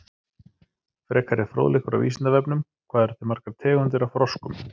Frekari fróðleikur á Vísindavefnum: Hvað eru til margar tegundir af froskum?